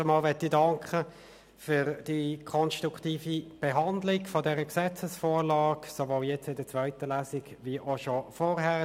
Erstens danke ich für die konstruktive Behandlung dieser Gesetzesvorlage, sowohl jetzt in der zweiten Lesung als auch schon vorher.